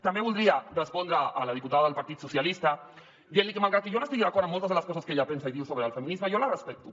també voldria respondre a la diputada del partit socialistes dient li que malgrat que jo no estigui d’acord amb moltes de les coses que ella pensa i diu sobre el feminisme jo la respecto